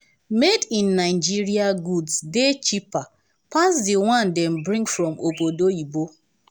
made in nigeria goods dey cheper pass di one wey dem bring from obodo oyinbo.